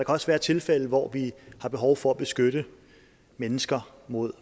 også være tilfælde hvor vi har behov for at beskytte mennesker mod